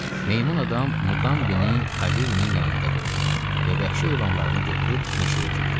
Meymun-adam Muqambini Kaviri'nin yanında qoydu və vəhşi heyvanlarını götürüb meşəyə girdi.